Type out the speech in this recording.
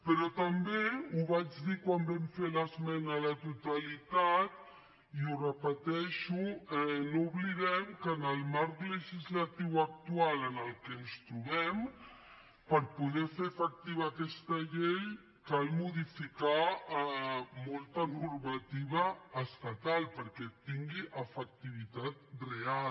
però també ho vaig dir quan vam fer l’esmena a la totalitat i ho repeteixo no oblidem que en el marc legislatiu actual en el que ens trobem per poder fer efectiva aquesta llei cal modificar molta normativa estatal perquè tingui efectivitat real